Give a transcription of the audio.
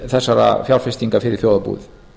þessara fjárfestinga fyrir þjóðarbúið